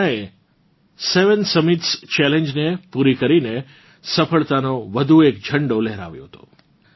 પૂર્ણાએ seven summits ચેલેન્જને પૂરી કરીને સફળતાનો વધુ એક ઝંડો લહેરાવ્યો છે